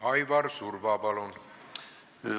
Aivar Surva, palun!